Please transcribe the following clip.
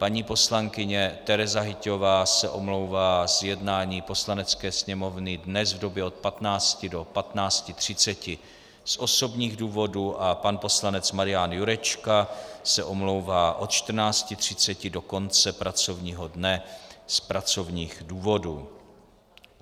Paní poslankyně Tereza Hyťhová se omlouvá z jednání Poslanecké sněmovny dnes v době od 15 do 15.30 z osobních důvodů a pan poslanec Marian Jurečka se omlouvá od 14.30 do konce pracovního dne z pracovních důvodů.